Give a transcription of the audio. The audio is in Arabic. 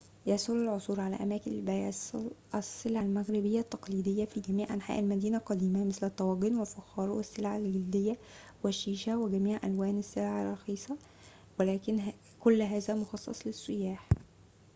يسهل العثور على أماكن لبيع السلع المغربية التقليدية في جميع أنحاء المدينة القديمة مثل الطواجن والفخار والسلع الجلدية والشيشة وجميع ألوان السلع الرخيصة ولكن كل هذا مخصص للسياح